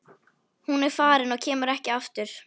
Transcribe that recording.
Hún er farin og kemur ekki aftur.